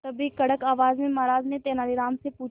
तभी कड़क आवाज में महाराज ने तेनालीराम से पूछा